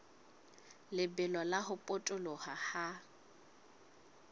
lebelo la ho potoloha ha